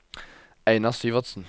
Einar Syversen